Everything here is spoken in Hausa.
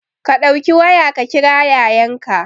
Ka ɗauki waya ka kira Yayanka